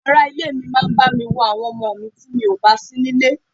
Àwọn ará ilé mi máa bami wo àwọn ọmọ mi ti mi ò bá síní ilé.